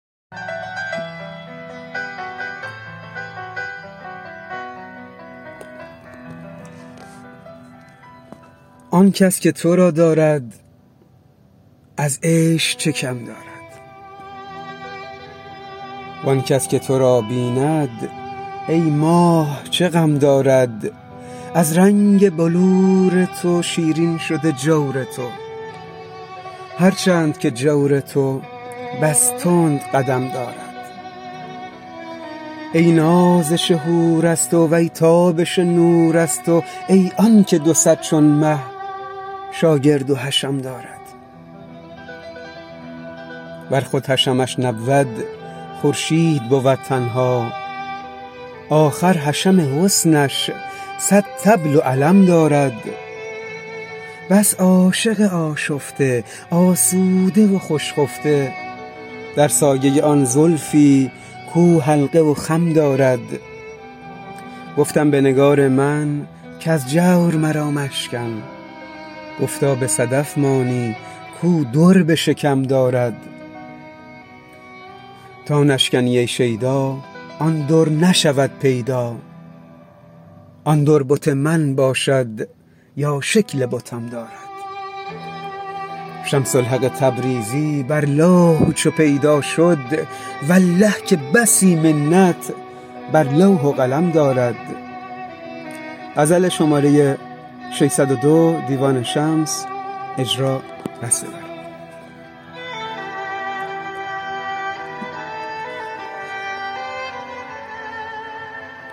آن کس که تو را دارد از عیش چه کم دارد وان کس که تو را بیند ای ماه چه غم دارد از رنگ بلور تو شیرین شده جور تو هر چند که جور تو بس تند قدم دارد ای نازش حور از تو وی تابش نور از تو ای آنک دو صد چون مه شاگرد و حشم دارد ور خود حشمش نبود خورشید بود تنها آخر حشم حسنش صد طبل و علم دارد بس عاشق آشفته آسوده و خوش خفته در سایه آن زلفی کو حلقه و خم دارد گفتم به نگار من کز جور مرا مشکن گفتا به صدف مانی کو در به شکم دارد تا نشکنی ای شیدا آن در نشود پیدا آن در بت من باشد یا شکل بتم دارد شمس الحق تبریزی بر لوح چو پیدا شد والله که بسی منت بر لوح و قلم دارد